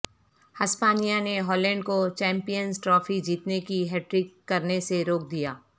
ہسپانیہ نےہالینڈ کوچیمپیئنزٹرافی جیتنے کی ہیٹ ٹرک کرنےسےروک دیا